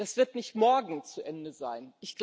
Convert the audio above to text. Das wird nicht morgen zu Ende sein.